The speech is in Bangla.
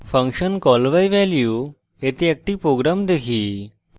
ফাংশন call by value এতে একটি program দেখি